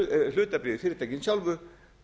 hlutabréf í fyrirtækin sjálfu